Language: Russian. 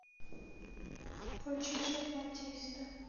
включи шахматиста